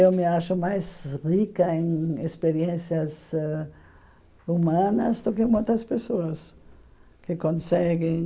Eu me acho mais rica em experiências ãh humanas do que muitas pessoas que conseguem